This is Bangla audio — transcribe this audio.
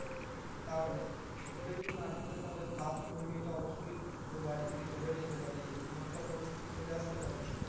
তাহলে? সুখে যদি না থাকে তাহলে ভাব যে, ওই মেয়েটা অবশ্যই তোর বাড়ি থেকে চলেও যেতে পারে এরকমও একটা পরিস্থিতি চলে আসতে পারে।